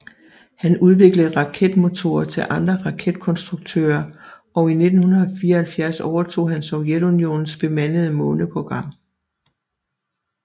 Han udviklede raketmotorer til andre raketkonstruktører og i 1974 overtog han Sovjetunionens bemandede måneprogram